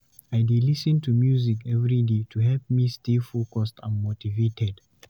I dey lis ten to music every day to help me stay focused and motivated.